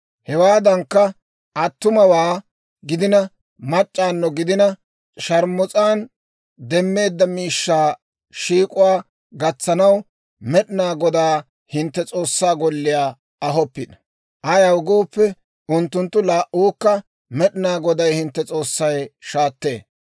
Hewaadankka, attumawaa gidina, mac'c'awunno gidina, sharmus'an demmeedda miishshaa shiik'uwaa gatsanaw Med'inaa Godaa hintte S'oossaa golliyaa ahoppino. Ayaw gooppe, unttunttu laa"uwaakka Med'inaa Goday hintte S'oossay shaattee.